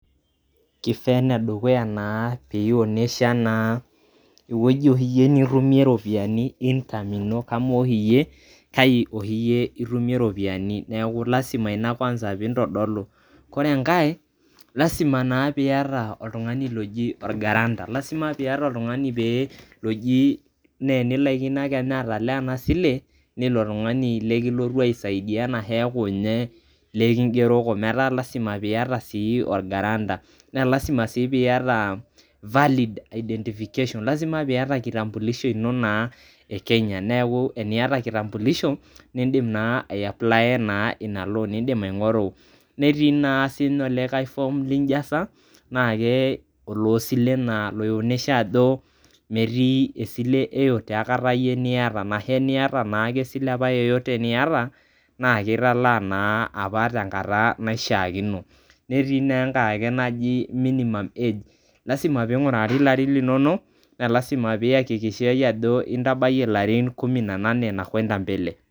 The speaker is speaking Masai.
kifaa ene dukuya pionesha naa ewueji oshi iyie nitumie income ino amu oshi iyie kai oshi itumie iropiyiani lasima ina kwanza pintodolu ore enkae lasima naa piata oltungani oji or guarantor lasima piata oltungani loji paa enilaikino kenya ake atalaa ena sile naa ilo tungani likilotu aisaidia ena heeku ninye likingeroko meeta lasima piata sii or guarantor naa lasima sii piata valid identification lasima piata kitambulisho ino naa e Kenya neku eniata kitambulisho nindim naa ae apply naa ina loan netii naa olikae form lijasa na ke olosilen naa loinyesha ajo metii esile yeyote aikata niata na he eniata naake esile yeyote apa niata na kitalaa naa apa tenkata naishiakino. netii naa enkae naji minimum age lasima pingurari larrin linono naa lasima peyakikishai ajo intabayie ilarrin kumi na nani na kwenda mbele